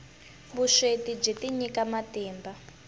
vusweti byi tinyika matimba